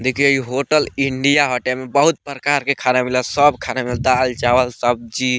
देखि इ hotel India हटे एमे बहुत प्रकार के खाना मिलेला सब खाना मिलेला दाल चावल सब्जी।